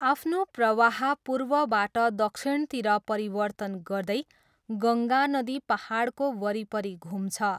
आफ्नो प्रवाह पूर्वबाट दक्षिणतिर परिवर्तन गर्दै, गङ्गा नदी पाहाडको वरिपरि घुम्छ।